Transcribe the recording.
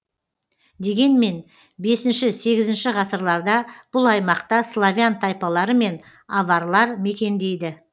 дегенмен бесінші сегізінші ғасырларда бұл аймақта славян тайпалары мен аварлар мекендейді